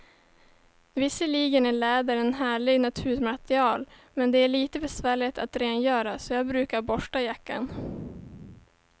Visserligen är läder ett härligt naturmaterial, men det är lite besvärligt att rengöra, så jag brukar borsta jackan.